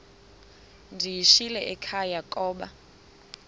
ndiyishiyile ekhaya koba